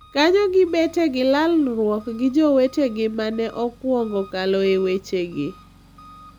Kanyo gibete gilalruok gi jowetegi ma ne okwongo kalo e wechegi.